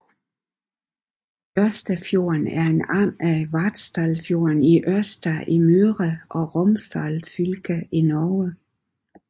Ørstafjorden er en arm af Vartdalsfjorden i Ørsta i Møre og Romsdal fylke i Norge